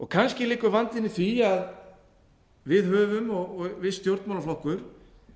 kannski liggur vandinn í því að við höfum og viss stjórnmálaflokkur